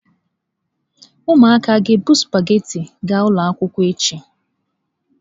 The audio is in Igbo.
Ụmụaka a ga-ebu sụpaghetị ga ụlọ akwụkwọ echi?